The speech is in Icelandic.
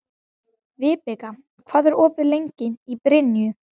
Vibeka, hvað er opið lengi í Brynju?